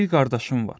Bir qardaşım var.